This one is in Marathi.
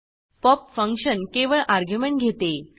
पॉप फंक्शन केवळ अर्ग्युमेंट घेते